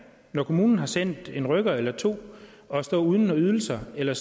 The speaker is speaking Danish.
når kommunen har sendt en rykker eller to at stå uden ydelser eller